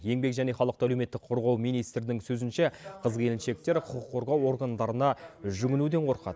еңбек және халықты әлеуметтік қорғау министрінің сөзінше қыз келіншектер құқық қорғау органдарына жүгінуден қорқады